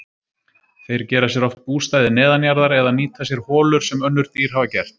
Þeir gera sér oft bústaði neðanjarðar eða nýta sér holur sem önnur dýr hafa gert.